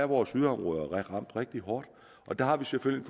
vores yderområder er ramt rigtig hårdt og der har vi selvfølgelig